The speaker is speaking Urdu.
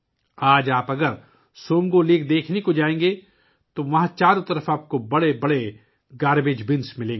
آج اگر آپ سومگو جھیل دیکھنے جائیں تو آپ کو وہاں چاروں طرف کچرا ڈالنے کے لئے بڑے بڑے گاربیج بِن نظر آئیں گے